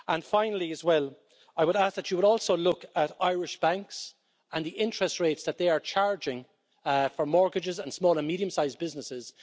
Finally, I would ask that you would also look at Irish banks and the interest rates that they are charging for mortgages and small and medium sized businesses.